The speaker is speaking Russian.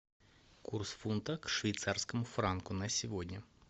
курс фунта к швейцарскому франку на сегодня